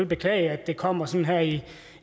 beklage at det kommer sådan her i